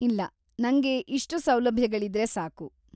ಇಲ್ಲ, ನಂಗೆ ಇಷ್ಟು ಸೌಲಭ್ಯಗಳಿದ್ರೆ ಸಾಕು.